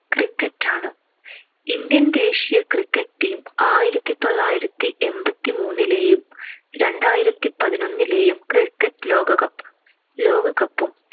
cricket ആണ്. Indian ദേശീയ cricket team ആയിരത്തിത്തൊള്ളായിരത്തി എൺപത്തിമൂന്നിലേയും രണ്ടായിരത്തിപതിനൊന്നിലെയും cricket ലോകകപ്പ്~ ലോകകപ്പും